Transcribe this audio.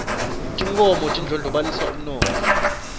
tinkhomo tindlonolobalisa umnotho